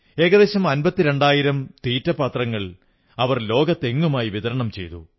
ഏകദേശം അമ്പത്തിരണ്ടായിരം തീറ്റപ്പാത്രങ്ങൾ അവർ ലോകമെങ്ങുമായി വിതരണം ചെയ്തു